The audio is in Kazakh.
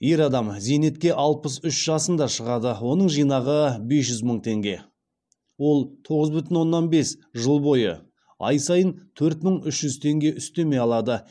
ер адам зейнетке алпыс үш жасында шығады оның жинағы бес жүз мың теңге ол тоғыз бүтін оннан бес жыл бойы ай сайын төрт мың үш жүз теңге үстеме алады